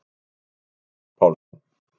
Sagði Örn Pálsson.